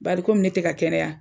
Bari komi ne tɛ ka kɛnɛya